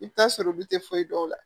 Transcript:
I bɛ t'a sɔrɔ olu tɛ foyi dɔn o la